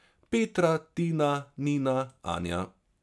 Petra, Tina, Nina, Anja...